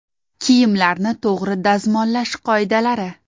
Kiyimlarni to‘g‘ri dazmollash qoidalari.